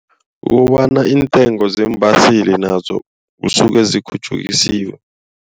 Kukobana iintengo zeembaseli nazo kusuke zikhutjhukisiwe.